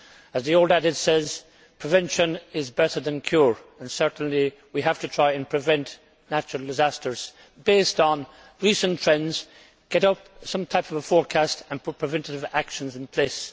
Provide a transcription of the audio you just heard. As the old adage says, prevention is better than cure' and certainly we have to try and prevent natural disasters based on recent trends, to get out some kind of a forecast and to put preventive actions in place.